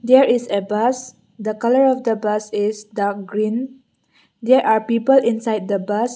here is a bus the colour of the bus is the green there are people inside the bus.